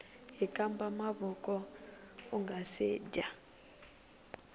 hkamba mavoko ungase dya